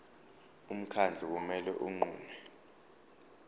umkhandlu kumele unqume